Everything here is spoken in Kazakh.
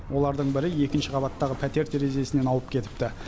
олардың бірі екінші қабаттағы пәтер терезесінен ауып кетіпті